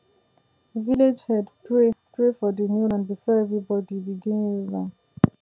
village head pray pray for the new land before everybody begin use am